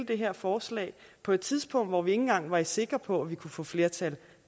det her forslag på et tidspunkt hvor vi ikke engang var sikre på at vi kunne få flertal